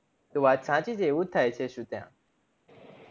વાત સાચી છે આવું થાય છે શું ત્યાં